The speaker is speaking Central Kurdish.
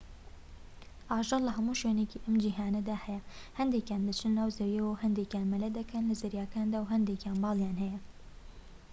ئاژەڵ لە هەموو شوێنێکی ئەم جیهانەدا هەیە هەندێکیان دەچنە ناو زەویەوە و هەندێکیان مەلە دەکەن لە زەریاکاندا و هەندێکیان باڵیان هەیە